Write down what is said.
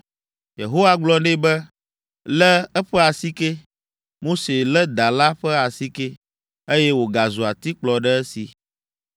Yehowa gblɔ nɛ be, “Lé eƒe asike!” Mose lé da la ƒe asike, eye wògazu atikplɔ ɖe esi!